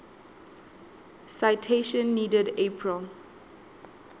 citation needed april